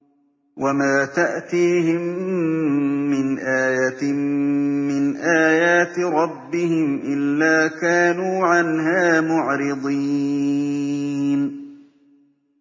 وَمَا تَأْتِيهِم مِّنْ آيَةٍ مِّنْ آيَاتِ رَبِّهِمْ إِلَّا كَانُوا عَنْهَا مُعْرِضِينَ